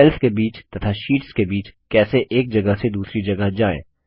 sales के बीच तथा शीट्स के बीच कैसे एक जगह से दूसरी जगह जाएँ